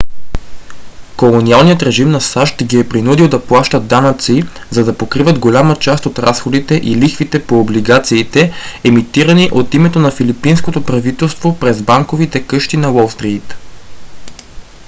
колониалният режим на сащ ги е принудил да плащат данъци за да покриват голяма част от разходите и лихвите по облигациите емитирани от името на филипинското правителство през банковите къщи на уолстрийт